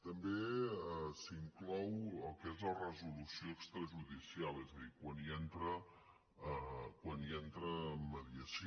també s’hi inclou el que és la resolució extrajudicial és a dir quan hi entra mediació